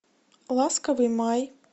ласковый май